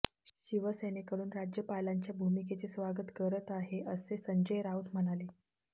शिवसेनेकडून राज्यपालांच्या भूमिकेचे स्वागत करत आहे असे संजय राऊत म्हणाले